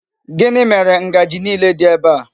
Gini mere Ngaji niile di ebe a?